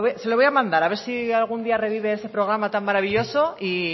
se lo voy a mandar a ver si algún día revive ese programa tan maravilloso y